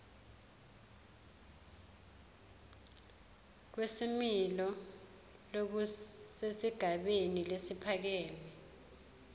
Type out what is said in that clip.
kwesimilo lokusesigabeni lesiphakeme